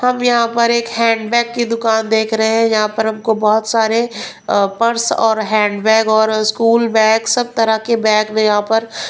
हम यहां पर एक हैंडबैग की दुकान देख रहे हैं यहां पर हमको बहुत सारे अ पर्स और हैंड बैग और स्कूल बैग सब तरह के बैग में यहां पर --